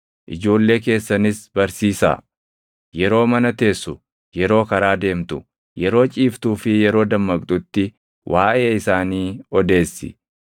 Ijoollee keessanis barsiisaa; yeroo mana teessu, yeroo karaa deemtu, yeroo ciiftuu fi yeroo dammaqxutti waaʼee isaanii odeessi.